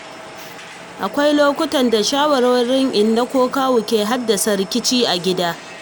Akwai lokuta da shawarwarin inna ko kawu ke haddasa rikici a cikin gida.